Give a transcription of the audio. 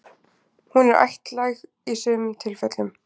Hún er ættlæg í sumum tilfellum.